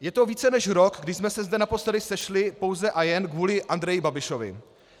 Je to více než rok, kdy jsme se zde naposledy sešli pouze a jen kvůli Andreji Babišovi.